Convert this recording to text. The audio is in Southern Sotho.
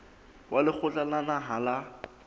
wa lekgotla la naha la